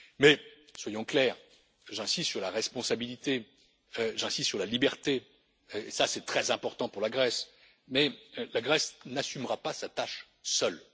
Mais, soyons clairs, j'insiste sur la responsabilité, j'insiste sur la liberté et c'est très important pour la Grèce mais la Grèce n'assumera pas sa tâche seule.